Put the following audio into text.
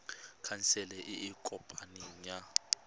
khansele e e kopaneng ya